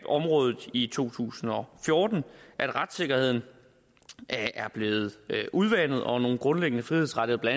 området i to tusind og fjorten at retssikkerheden er blevet udvandet og at nogle grundlæggende frihedsrettigheder